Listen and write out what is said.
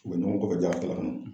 U bɛ ɲɔgɔn kɔfɛ ja